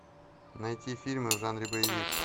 найти фильмы в жанре боевик